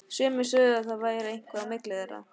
Sumir sögðu að það væri eitthvað á milli þeirra.